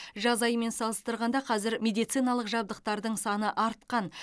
жаз айымен салыстырғанда қазір медициналық жабдықтардың саны артқан